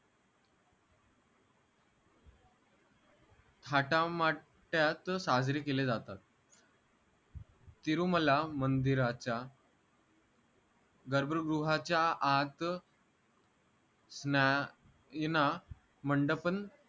थाटामाटात साजरे केले जातात तिरुमला मंदिराच्या गर्भगृहाच्या आत मंडपन